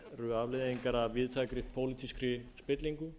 eru afleiðingar af víðtækri pólitískri spillingu